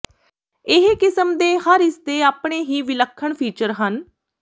ਇਹ ਕਿਸਮ ਦੇ ਹਰ ਇਸ ਦੇ ਆਪਣੇ ਹੀ ਵਿਲੱਖਣ ਫੀਚਰ ਹਨ